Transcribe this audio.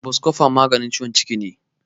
Boskofon maganin ciwon ciki ne.